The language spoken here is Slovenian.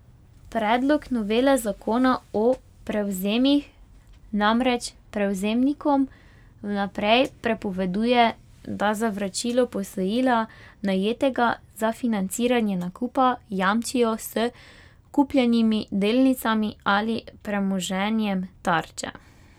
Predlog novele zakona o prevzemih namreč prevzemnikom vnaprej prepoveduje, da za vračilo posojila, najetega za financiranje nakupa, jamčijo s kupljenimi delnicami ali premoženjem tarče.